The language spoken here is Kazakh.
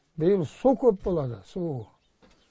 биыл су көп болады су